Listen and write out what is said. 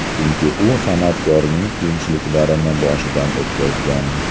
Chunki u san’atkorning qiyinchiliklarini boshidan o‘tkazgan.